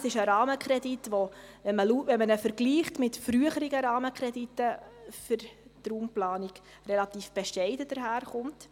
Das ist ein Rahmenkredit, der für die Raumplanung relativ bescheiden daherkommt, wenn man ihn mit früheren Rahmenkrediten vergleicht.